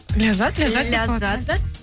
ләззат ләззат ләззат